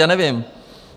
Já nevím.